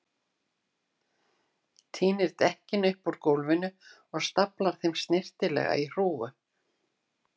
Tínir dekkin upp úr gólfinu og staflar þeim í snyrtilega hrúgu.